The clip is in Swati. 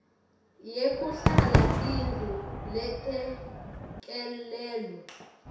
yekuhlala tindlu letelekelelwe